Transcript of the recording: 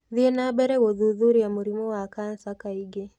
Thiĩ na mbere gũthuthuria mũrimũ wa kansa kaingĩ.